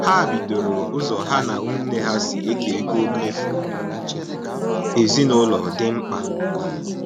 Ha bidoro ụzọ ha na ụmụnne ha si eke ego mmefu ezinaụlọ dị mkpa